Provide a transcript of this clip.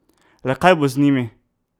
Le kaj bo z njimi?